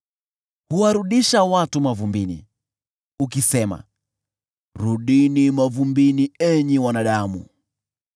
Huwarudisha watu mavumbini, ukisema, “Rudini mavumbini, enyi wanadamu.”